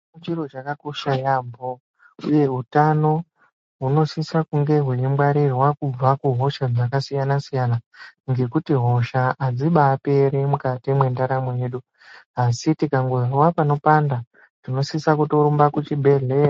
Chiro chakakosha yaambo uye utano hunosisa kunge hweingwarirwa kubva kuhosha dzakasiyana siyana ngekuti hosha hadzibaperi mukati mwendaramo yedu, Asi tikangozwa panopanda, tinosisa kutorumba kuchibhedhleya.